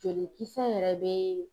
Jolikisɛ yɛrɛ bɛ